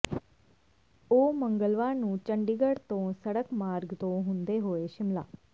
ਉਹ ਮੰਗਲਵਾਰ ਨੂੰ ਚੰਡੀਗੜ੍ਹ ਤੋਂ ਸੜਕ ਮਾਰਗ ਤੋਂ ਹੁੰਦੇ ਹੋਏ ਸ਼ਿਮਲਾ